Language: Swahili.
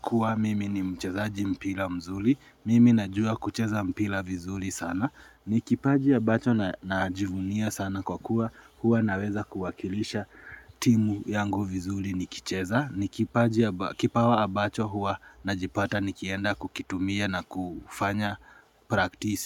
kuwa mimi ni mchezaji mpila mzuli, mimi najua kucheza mpila vizuli sana, ni kipaji ambacho na ajivunia sana kwa kuwa huwa naweza kuwakilisha timu yangu vizuli ni kicheza, nikipaji kipawa abacho huwa na jipata nikienda kukitumia na kufanya praktisi.